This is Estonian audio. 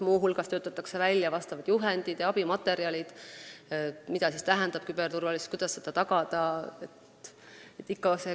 Muu hulgas töötatakse välja juhendid ja abimaterjalid selle kohta, mida tähendab küberturvalisus ja kuidas seda tagada.